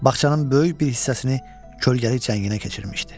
Bağçanın böyük bir hissəsini kölgəli cənginə keçirmişdi.